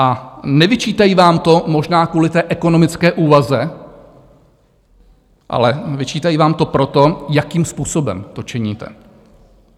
A nevyčítají vám to možná kvůli té ekonomické úvaze, ale vyčítají vám to proto, jakým způsobem to činíte.